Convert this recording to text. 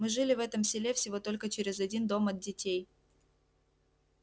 мы жили в этом селе всего только через один дом от детей